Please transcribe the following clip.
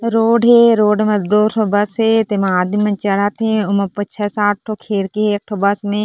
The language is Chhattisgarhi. रोड हे रोड म दो ठो बस हे तेमा आदमी मन चढ़त हे छे सात ठोह खिड़कि हे एक ठो बस मे --